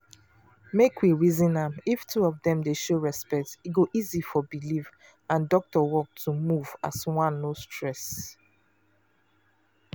make we reason am if two of dem dey show respect e go easy for belief and doctor work to move as one no stress.